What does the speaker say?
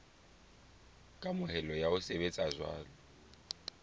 kamohelo ya ho sebetsa jwalo